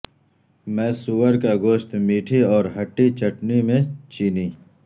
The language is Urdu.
میں سور کا گوشت میٹھی اور ھٹی چٹنی میں چینی